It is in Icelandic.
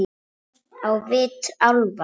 Á vit álfa